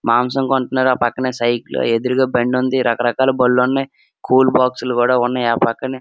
మాంసం కొంటున్నాను నా పక్కనే సైకిలు ఎదురుగా బండి ఉంది రకరకాల బండ్లు ఉన్నాయి. కూల్ బాక్సు లు కూడా ఉన్నాయ్ ఆ పక్కనే --